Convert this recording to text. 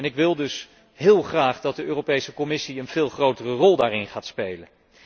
Ik wil dus heel graag dat de Europese Commissie een veel grotere rol daarin gaat spelen.